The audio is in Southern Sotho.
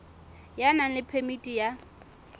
ya nang le phemiti ya